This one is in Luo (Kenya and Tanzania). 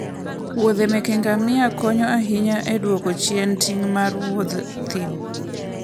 muodhe meke ngamia konyo ahinya e dwoko chien ting' mar Wuoth thim.